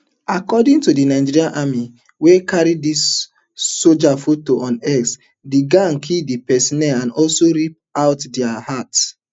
according to di nigerian army wey carry di sojas photo on x di gang kill di personnel and also rip out dia hearts